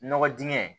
Nɔgɔ dingɛ